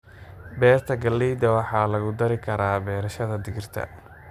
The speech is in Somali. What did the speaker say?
Beerta galleyda waxaa lagu dari karaa beerashada digirta.